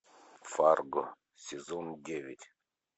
фарго сезон девять